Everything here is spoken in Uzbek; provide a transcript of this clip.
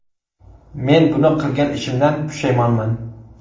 Men bu qilgan ishimdan pushaymonman.